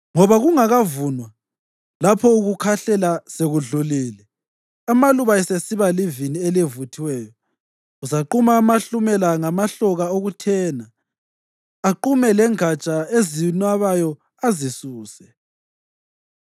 Ngoba kungakavunwa, lapho ukukhahlela sekudlule, amaluba esesiba livini elivuthiweyo, uzaquma amahlumela ngamahloka okuthena, aqume lengatsha ezinabayo, azisuse.